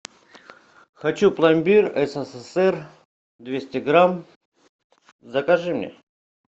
хочу пломбир ссср двести грамм закажи мне